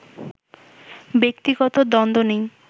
ব্যক্তিগত দ্বন্দ্ব নেই